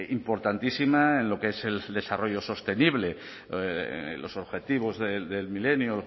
importantísima en lo que es el desarrollo sostenible los objetivos del milenio